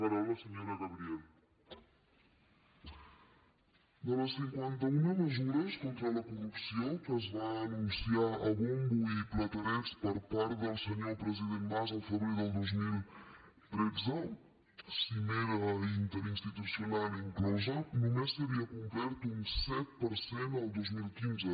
de les cinquanta una mesures contra la corrupció que es va anunciar a bombo i platerets per part del senyor president mas el febrer del dos mil tretze cimera interinstitucional inclosa només s’havia complert un set per cent el dos mil quinze